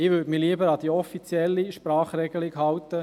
Ich würde mich lieber an die offizielle Sprachregelung halten: